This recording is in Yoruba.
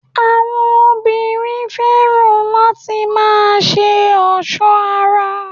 Àwọn obìnrin fẹ́ràn láti má a se ọ̀sọ́ ara